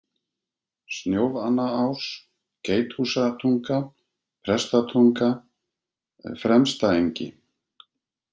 Snjófannaás, Geithúsatunga, Prestatunga, Fremstaengi